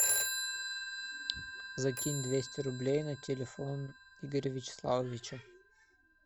закинь двести рублей на телефон игоря вячеславовича